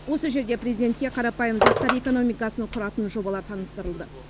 осы жерде президентке қарапайым заттар экономикасын құратын жобалар таныстырылды